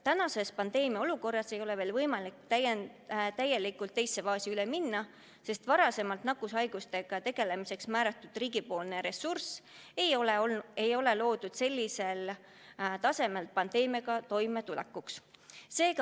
Praeguses pandeemiaolukorras ei ole võimalik täielikult teise faasi üle minna, sest varem nakkushaigustega tegelemiseks loodud riigipoolne ressurss ei olnud mõeldud sellisel tasemel pandeemiaga toimetulekuks.